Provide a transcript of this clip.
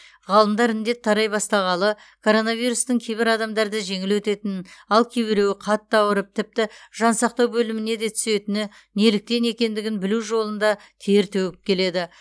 ғалымдар індет тарай бастағалы коронавирустың кейбір адамдарда жеңіл өтетінін ал кейбіреуі қатты ауырып тіпті жансақтау бөліміне де түсетіні неліктен екендігін білу жолында тер төгіп келеді